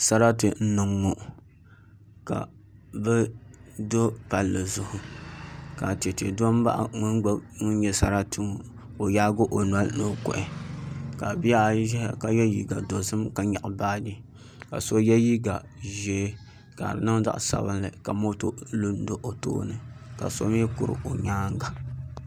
Sarati n niŋ ŋo ka bi do palli zuɣu ka chɛchɛ do n baɣa ŋun nyɛ sarati ku ka o yaagi o noli ni o kuhi ka bihi ayi ʒɛya ka yɛ liiga dozim ka nyaɣa baaji ka so yɛ liiga ʒiɛ ka di niŋ zaɣ sabinli ka moto lu n do o tooni ka so mii kuri o nyaanga